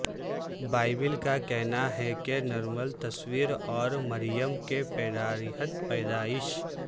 Bible کا کہنا ہے کہ نرمل تصور اور مریم کے پیڑارہت پیدائش